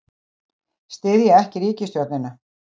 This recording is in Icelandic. Styðja ekki ríkisstjórnina